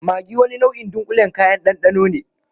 Maggi wani nau'in dunƙulen kayan ɗanɗano ne.